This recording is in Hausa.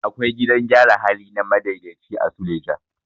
Akwai gidan gyara hali na madaidaici a suleja.